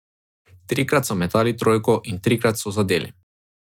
Trikrat so metali trojko in trikrat so zadeli.